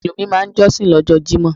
Mùsùlùmí máa n jósìn lójó Jímò